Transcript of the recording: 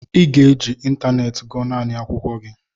ị ga-eji ịntanetị gụọ naanị akwụkwọ gị!